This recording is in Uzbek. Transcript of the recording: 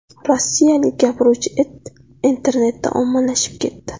Rossiyalik gapiruvchi it internetda ommalashib ketdi .